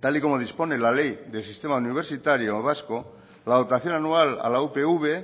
tal y como dispone la ley del sistema universitario vasco la dotación anual a la upv